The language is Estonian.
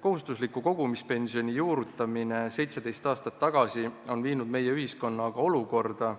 Kohustusliku kogumispensioni juurutamine 17 aastat tagasi on aga viinud meie ühiskonna olukorda,